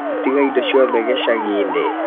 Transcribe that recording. Atiga indo ciothe gĩcagi-inĩ